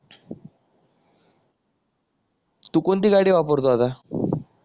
तू कोणती गाडी वापरतो आता